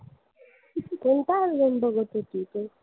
कोणता album बघत होती तू?